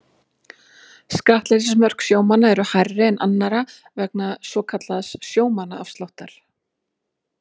Skattleysismörk sjómanna eru hærri en annarra vegna svokallaðs sjómannaafsláttar.